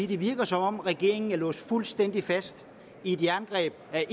det virker som om regeringen er låst fuldstændig fast i et jerngreb af af